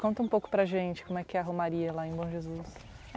Conta um pouco para a gente como é que é a Romaria lá em Bom Jesus.